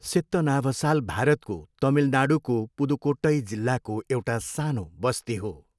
सित्तनावसाल भारतको तमिलनाडूको पुदुक्कोट्टई जिल्लाको एउटा सानो बस्ती हो।